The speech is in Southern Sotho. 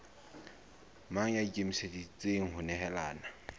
mang ya ikemiseditseng ho nehelana